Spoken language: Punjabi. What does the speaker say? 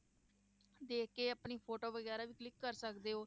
ਦੇਖ ਕੇ ਆਪਣੀ photo ਵਗ਼ੈਰਾ ਵੀ click ਕਰ ਸਕਦੇ ਹੋ,